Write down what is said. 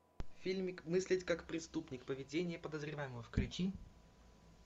фильмик мыслить как преступник поведение подозреваемого включи